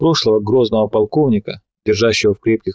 прошлое грозного полковника держащего в крепких